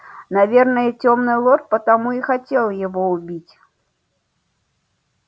наверное тёмный лорд потому и хотел его убить